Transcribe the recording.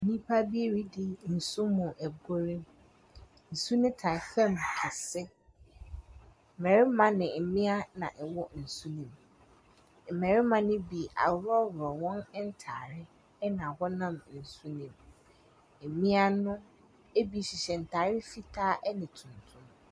Nnipa bi redi nsu mu agorɔ. Nsu no taa fam kɛse. Mmarima ne mmea na ɛwɔ nsu nim. Mmarima ne bi ahorɔhorɔ wɔn ntaade, ɛna wɔnam nsu nim. Mmea no ebi hyehyɛ ntaare fitaa ɛne tuntum.